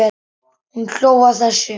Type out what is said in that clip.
Hún hló að þessu.